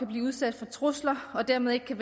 blive udsat for trusler og dermed ikke kan